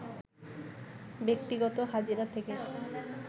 ব্যক্তিগত হাজিরা থেকে